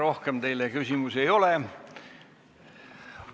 Rohkem teile küsimusi ei ole.